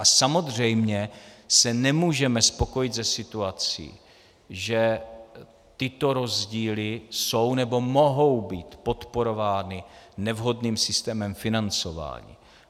A samozřejmě se nemůžeme spokojit se situací, že tyto rozdíly jsou nebo mohou být podporovány nevhodným systémem financování.